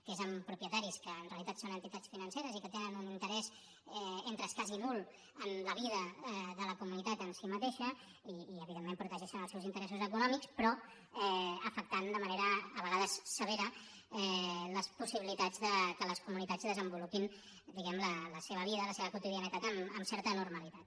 que és amb propietaris que en realitat són entitats financeres i que tenen un interès entre escàs i nul en la vida de la comunitat en si mateixa i evidentment protegeixen els seus interessos econòmics però afectant de manera a vegades severa les possibilitats que les comunitats desenvolupin la seva vida la seva quotidianitat amb certa normalitat